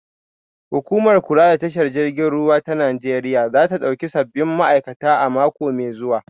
Hukumar kula da tashar jiragen ruwa ta Najeriya za ta dauki sabbin ma'aikata a mako mai zuwa